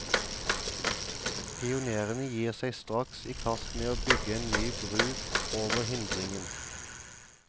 Pionerene gir seg straks i kast med å bygge en ny bru over hindringen.